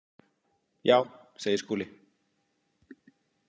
Já, segir Skúli.